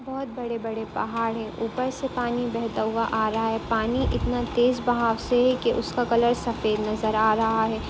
बहुत बड़े-बड़े पहाड़ है ऊपर से पानी बहता हुआ आ रहा है पानी इतना तेज बहाव से है कि उसका कलर सफेद नज़र आ रहा है।